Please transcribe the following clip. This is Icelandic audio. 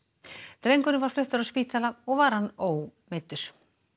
drengurinn var fluttur á spítala og var hann ómeiddur